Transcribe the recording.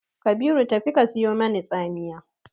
Kabiru tafi ka sayo mani tsamiya!